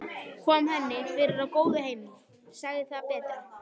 Kom henni fyrir á góðu heimili, sagði það betra.